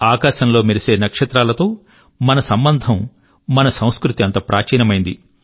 ఆకాశంలో మెరిసే నక్షత్రాలతో మన సంబంధం మన సంస్కృతి అంత ప్రాచీనమైనది